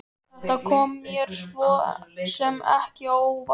Þetta kom mér svo sem ekki á óvart.